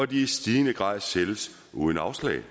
de i stigende grad sælges uden afslag vi